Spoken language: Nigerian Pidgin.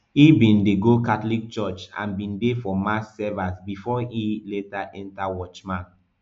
e bin dey go catholic church and bin dey for mass servers bifor e later enta watchman